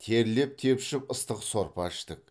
терлеп тепшіп ыстық сорпа іштік